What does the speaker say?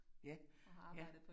Ja, ja